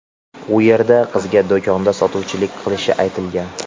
U yerda qizga do‘konda sotuvchilik qilishi aytilgan.